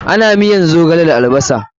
Ana miyan zogale da albasar.